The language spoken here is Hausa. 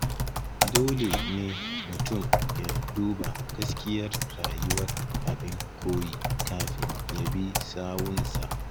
Dole ne mutum ya duba gaskiyar rayuwar abin koyi kafin ya bi sawunsa